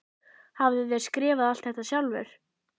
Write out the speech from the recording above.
Hafið þér skrifað allt þetta sjálfur?